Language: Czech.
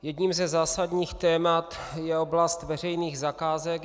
Jedním ze zásadních témat je oblast veřejných zakázek.